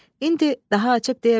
İndi daha açıb deyə bilərəm.